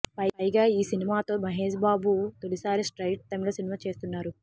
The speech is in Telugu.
పైగా ఈ సినిమాతో మహేష్ బాబు తొలిసారి స్ట్రయిట్ తమిళ సినిమా చేస్తున్నారు